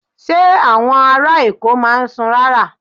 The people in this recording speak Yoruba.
Ṣé àwọn ará Èkó máa ń sùn rárá?